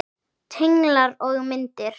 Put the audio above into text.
Tenglar og myndir